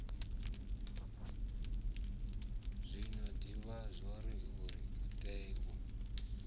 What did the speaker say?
zwino divhai zwauri utea u